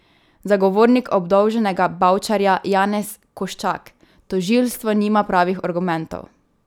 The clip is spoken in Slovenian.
Zagovornik obdolženega Bavčarja Janez Koščak: "Tožilstvo nima pravih argumentov.